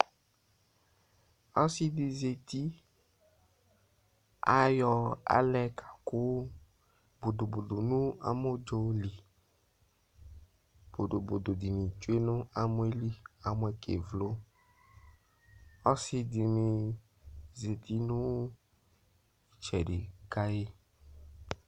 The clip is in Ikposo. Ɔsɩ dɩ zati, ayɔ alɛ kakʋ bodobodo nʋ amɔdzo li Bodobodo dɩnɩ tsue nʋ amɔ yɛ li kʋ amɔ yɛ kevlo Ɔsɩ dɩnɩ zati nʋ ɩtsɛdɩ ka yɩ